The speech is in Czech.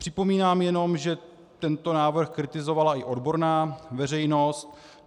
Připomínám jenom, že tento návrh kritizovala i odborná veřejnost.